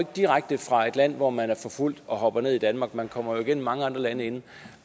direkte fra et land hvor man er forfulgt og dropper ned i danmark man kommer jo igennem mange andre lande inden